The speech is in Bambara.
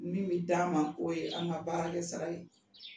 Min bɛ d'an ma k'o ye an ka baara kɛ sara ye